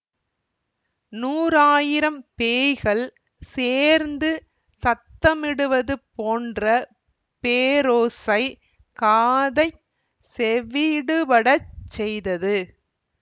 நூறாயிரம் பேய்கள் சேர்ந்து சத்தமிடுவது போன்ற பேரோசை காதைச் செவியிடுபடச் செய்தது